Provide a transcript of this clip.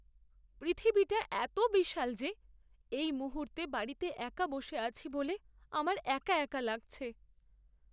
পৃথিবীটা এত বিশাল যে এই মুহূর্তে বাড়িতে একা বসে আছি বলে আমার একা একা লাগছে!